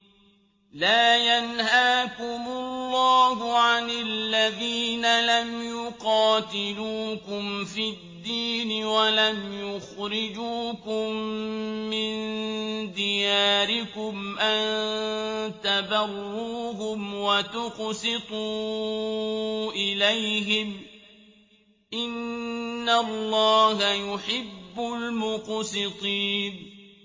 لَّا يَنْهَاكُمُ اللَّهُ عَنِ الَّذِينَ لَمْ يُقَاتِلُوكُمْ فِي الدِّينِ وَلَمْ يُخْرِجُوكُم مِّن دِيَارِكُمْ أَن تَبَرُّوهُمْ وَتُقْسِطُوا إِلَيْهِمْ ۚ إِنَّ اللَّهَ يُحِبُّ الْمُقْسِطِينَ